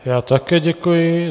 Já také děkuji.